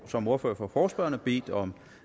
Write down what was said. som ordfører for forespørgerne bedt om